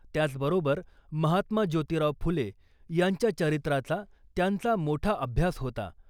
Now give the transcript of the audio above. त्याच बरोबर महात्मा ज्योतीराव फुले यांच्या चरित्राचा त्यांचा मोठा अभ्यास होता .